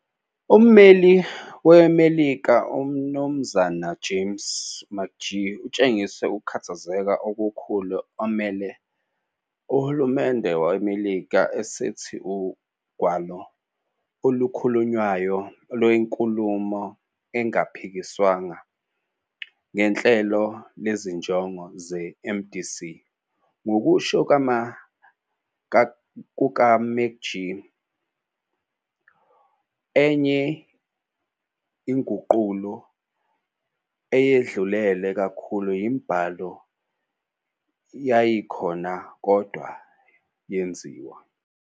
Umeli weMelika uMnumzana James McGee utshengise ukukhathazeka okukhulu emele uhulumende weMelika esithi ugwalo olukhulunywayo luyinkulumo engaphikiswanga ngenhlelo lezinjongo zeMDC, ngokusho kukaMcGee, enye inguqulo, eyedlulele kakhulu yombhalo yayikhona, kodwa yenziwa.